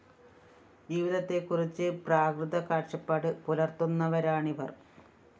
ജീവിതത്തെക്കുറിച്ച് പ്രാകൃത കാഴ്ച്ചപ്പാട് പുലര്‍ത്തുന്നവരാണിവര്‍